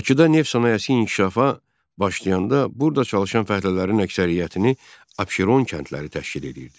Bakıda neft sənayesi inkişafa başlayanda burda çalışan fəhlələrin əksəriyyətini Abşeron kəndləri təşkil edirdi.